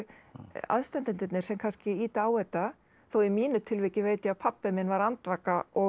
aðstandendurnir sem kannski ýta á þetta þó í mínu tilviki veit ég að pabbi minn var andvaka og